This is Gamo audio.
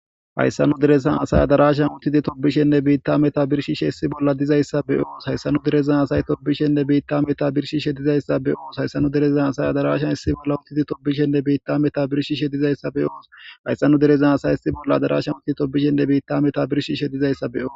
hayssanu derezan asay adarashan uttidi tobishenne biitta meta birshishe hessi bolla dizayssa beyoos hayssanu derezna asay tobishenne biitta meta birshi shedizayssa be oos hayssanu derezan asay adarashan hissi bolla uttidi toobishenne biitta meta birshi shedizayssa be oos hayssanu derezan asay hissi bolla adarashan uttidi tobishenne biitta meta birshi shedizayssa beoo